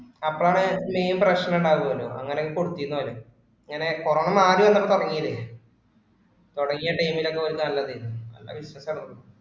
അപ്പോഴാണ് main പ്രശ്‍നം ഉണ്ടായിന്നു വരും. അങ്ങിനൊക്കെ കൊടുത്തിന്നു വരും. ഇങ്ങനെ corona മാറി വന്നപ്പോ തുടങ്ങിയതേ, തുടങ്ങിയ time ഇൽ ഒക്കെ ഓര് നല്ലതായിരുന്നു. നല്ല business ആണ്.